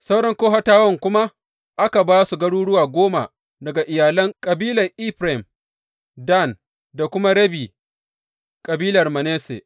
Sauran Kohatawan kuma aka ba su garuruwa goma daga iyalan kabilar Efraim, Dan da kuma rabi kabilar Manasse.